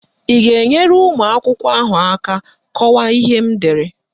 Ị ga-enyere ụmụakwụkwọ ahụ aka kọwaa ihe m dere?